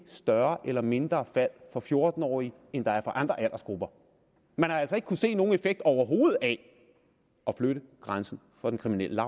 større eller mindre fald for fjorten årige end der er for andre aldersgrupper man har altså ikke se nogen effekt overhovedet af at flytte grænsen for den kriminelle